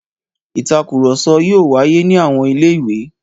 Ìtakùrọ̀sọ yóò wáyé ní àwọn ilé-ìwé.